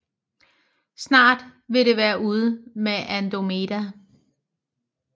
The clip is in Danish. Snart ville det være ude med Andromeda